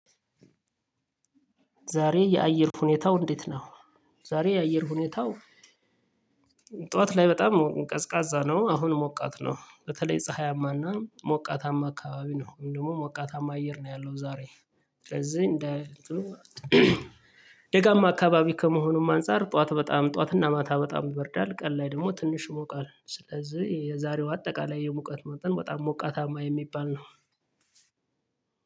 ዛሬ የአየር ሁኔታው እንዴት ነው? ዛሬ የአየር ሁኔታው ጠዋት ላይ በጣም ቀዝቃዛ ነው አሁን ሞቃት ነው በተለይ ፀሀያማና ሞቃታማ አካባቢ ነው እንዲሁም ሞቃታማ አየር ነው ያለው። ዛሬ ስለዚህ እንደ ደጋማ አካባቢ ከመሆኑም አንፃር ጠዋት በጣም ጠዋትና ማታ በጣም ይበርዳል። ቀን ላይ ደግሞ ትንሽ ይሞቃል። ስለዚህ የዛሬው አጠቃላይ የሙቀት መጠን በጣም ሞቃታማ የሚባል ነው።